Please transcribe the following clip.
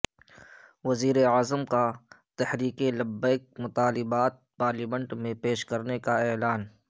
وزیراعظم کا تحریک لبیک کے مطالبات پارلیمنٹ میں پیش کرنے کا اعلان